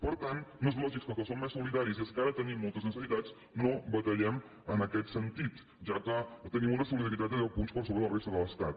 per tant no és lògic que els que som més solida·ris i els que ara tenim moltes necessitats no batallem en aquest sentit ja que tenim una solidaritat de deu punts per sobre de la resta de l’estat